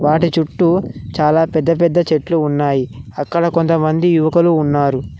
వాటి చుట్టూ చాలా పెద్ద పెద్ద చెట్లు ఉన్నాయి అక్కడ కొంతమంది యువకులు ఉన్నారు.